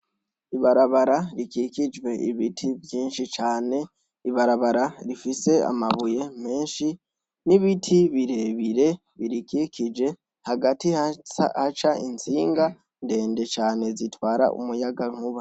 ibarabara rikikijwe ibiti vyinshi cane ibarabara rifise amabuye menshi n'ibiti birebire birikikije hagati haca itsinga ndende cane zitwara umuyagankuba